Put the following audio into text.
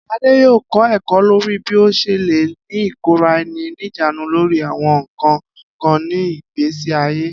Ade yoo kọ ẹkọ lori bi o ṣe le ni ikora-ẹni-nijaanu lori awọn nkan kan ni igbesi aye.